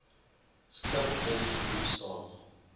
skip dus geboekstaaf